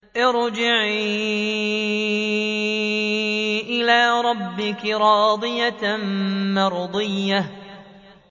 ارْجِعِي إِلَىٰ رَبِّكِ رَاضِيَةً مَّرْضِيَّةً